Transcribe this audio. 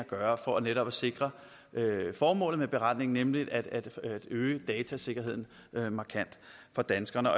gøre for netop at sikre formålet med beretningen nemlig at øge datasikkerheden markant for danskerne